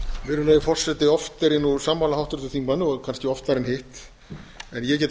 virðulegi forseti oft er ég nú sammála háttvirtum þingmanni og kannski oftar en hitt en ég get